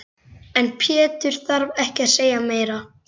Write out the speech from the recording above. En Pétur þarf ekki að segja meira.